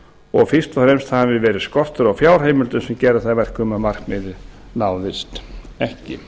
og fyrst og fremst hafði verið skortur á fjárheimildum sem gerði það að verkum að markmiðið náðist ekki